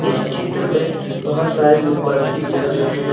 इस चित्र में बहोत सारे मोमबत्ती जल रहे हैं।